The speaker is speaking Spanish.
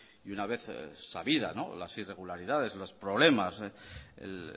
y una vez sabida las irregularidades los problemas el